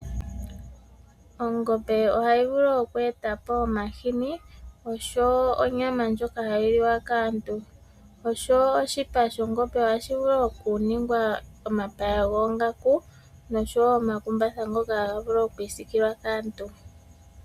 Ongombe ohayi vulu oku eta po omahini osho wo onyama ndjoka hayi liwa kaantu. Osho wo oshipa shOngombe ohashi vulu oku ningwa omapaya goongaku nosho wo omakumbatha ngoka haga vulu okwiisikilwa kaantu.